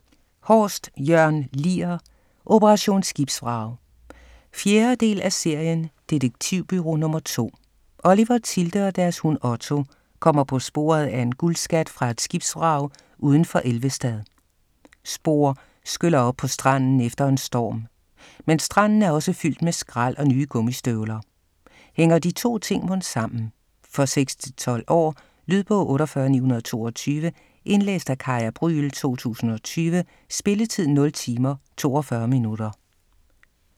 Horst, Jørn Lier: Operation Skibsvrag 4. del af serien Detektivbureau Nr. 2. Oliver, Tilde og deres hund, Otto, kommer på sporet af en guldskat fra et skibsvrag uden for Elvestad. Spor skyller op på stranden efter en storm. Men stranden er også fyldt med skrald og nye gummistøvler. Hænger de to ting mon sammen? For 6-12 år. Lydbog 48922 Indlæst af Kaya Brüel, 2020. Spilletid: 0 timer, 42 minutter.